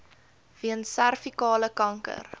weens servikale kanker